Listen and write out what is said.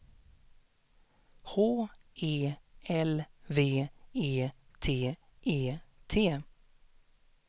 H E L V E T E T